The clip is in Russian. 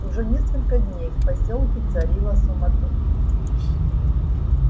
уже несколько дней в посёлке царила суматоха